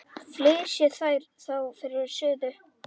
Flysjið þær þá fyrir suðu.